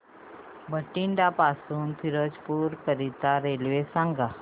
बठिंडा पासून फिरोजपुर करीता रेल्वे सांगा